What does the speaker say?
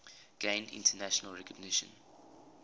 gained international recognition